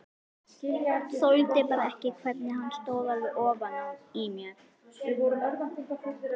Þoldi bara ekki hvernig hann stóð alveg ofan í mér.